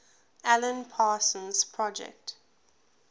alan parsons project